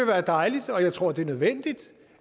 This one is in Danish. være dejligt og jeg tror det er nødvendigt